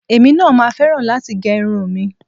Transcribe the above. Èmi náà máa fẹ́ràn láti gẹ irun mi